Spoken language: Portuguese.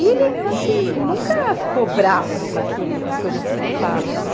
E ele, assim, nunca ficou bravo com aquilo, com as coisas que eu falo, sabe?